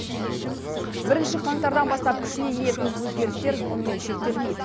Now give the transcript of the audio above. бірінші қаңтардан бастап күшіне енетін өзгерістер мұнымен шектелмейді